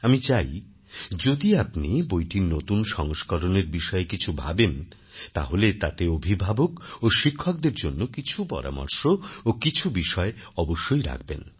আমি চাই যদি আপনি বইটির নতুন সংস্করণের বিষয়ে কিছু ভাবেন তাহলে তাতে অভিভাবক ও শিক্ষকদের জন্য কিছু পরামর্শ ও কিছু বিষয় অবশ্যই রাখবেন